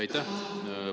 Aitäh!